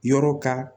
Yɔrɔ ka